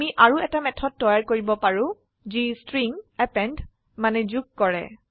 আমি আৰু এটা মেথড তৈয়াৰ কৰিব পাৰো যি স্ট্ৰিং যোগ কৰে